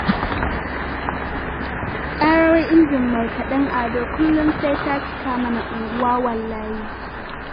Ƙarar injin markaɗen Ado kullum sai ta cika mana unguwa wallahi